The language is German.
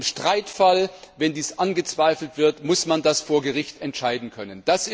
Im Streitfall, wenn dies angezweifelt wird, muss man das vor Gericht entscheiden können.